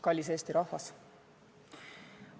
Kallis Eesti rahvas!